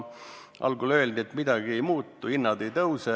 Algul öeldi, et midagi ei muutu, hinnad ei tõuse.